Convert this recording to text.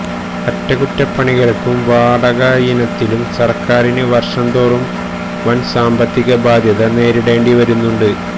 അറ്റകുറ്റപണികള്ക്കും വാടകയിനത്തിലും സര്ക്കാരിന് വര്ഷം തോറും വന് സാമ്പത്തിക ബാദ്ധ്യത നേരിടേണ്ടിവരുന്നുണ്ട്